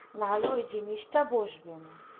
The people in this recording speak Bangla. না হলে ওই জিনিসটা বসবেন না